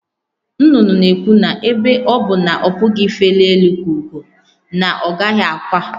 Nnụnụ na-ekwu na ebe ọ bụ na ọ pụghị ifeli elu ka ugo, na ọ gaghị akwa.